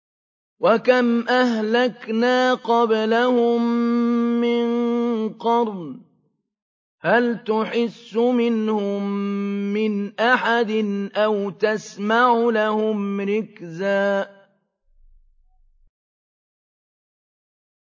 وَكَمْ أَهْلَكْنَا قَبْلَهُم مِّن قَرْنٍ هَلْ تُحِسُّ مِنْهُم مِّنْ أَحَدٍ أَوْ تَسْمَعُ لَهُمْ رِكْزًا